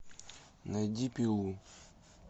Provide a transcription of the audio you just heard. найди пилу